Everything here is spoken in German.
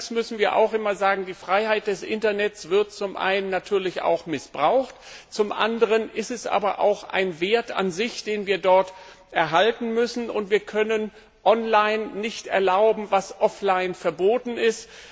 Allerdings müssen wir auch immer sagen Die Freiheit des Internets wird zum einen natürlich auch missbraucht, zum anderen ist es aber auch ein Wert an sich, den wir dort erhalten müssen, und wir können online nicht erlauben, was offline verboten ist.